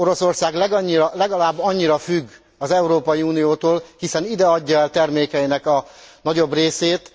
Oroszország legalább annyira függ az Európai Uniótól, hiszen ide adja el termékeinek a nagyobb részét.